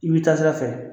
I bɛ taa sira fɛ